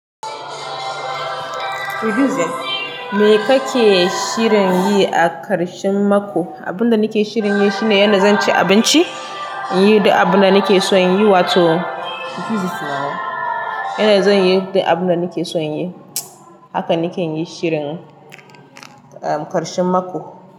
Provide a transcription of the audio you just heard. Me kake shirin yi a karshen mako? Abunda nake shirin yi shine yana zan ci abinci, yi da abunda nake son yi wato yana zan yi da abunda nake son yi. Haka nake yi shirin, um, karshen mako.